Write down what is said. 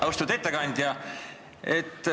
Austatud ettekandja!